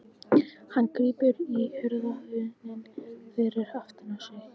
Hann grípur í hurðarhúninn fyrir aftan sig.